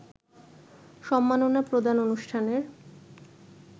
সম্মাননা প্রদান অনুষ্ঠানের